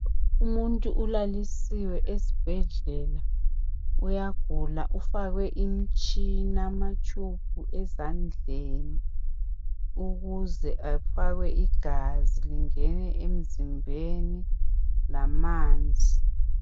Umuntu ulalisiwe esibhedlela. Uyagula, ufakwe imtshina ama tube ezandleni ukuze afakwe igazi lingene emzimbeni lamanzi.